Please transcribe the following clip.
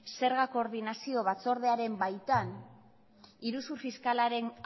zerga koordinazio batzordearen baitan iruzur fiskalaren